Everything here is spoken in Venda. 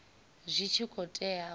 zwi tshi khou tea u